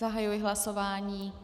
Zahajuji hlasování.